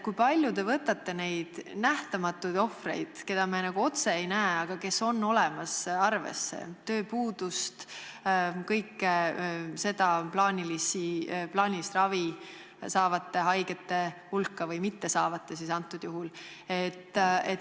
Kui palju te võtate arvesse neid n-ö nähtamatuid ohvreid, keda me nagu otse ei näe, aga kes on olemas, ning tööpuudust, plaanilist ravi saavate või õigemini praegusel juhul mittesaavate haigete hulka?